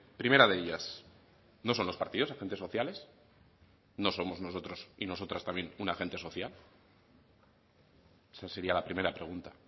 primera de ellas no son los partidos agentes sociales no somos nosotros y nosotras también un agente social esa sería la primera pregunta